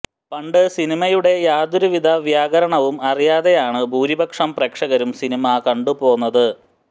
പണ്ട് സിനിമയുടെ യാതൊരുവിധ വ്യാകരണവും അറിയാതെയാണ് ഭൂരിപക്ഷം പ്രേക്ഷകരും സിനിമ കണ്ടുപോന്നത്